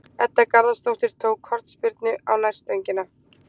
Edda Garðarsdóttir tók hornspyrnu á nærstöngina.